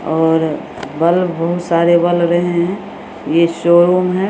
और बल्ब बहुत सारे जल रहे है और ये शोरूम है।